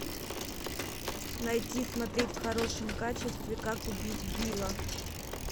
найти смотреть в хорошем качестве как убить билла